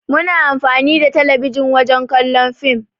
Muna amfani da talabijin wajen kallon fim.